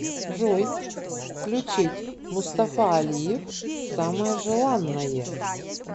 джой включить мустафа алиев самое желанное